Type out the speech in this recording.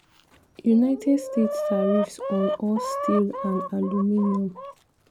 united states tariffs on all steel and aluminium